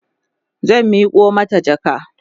zan Miko mata jaka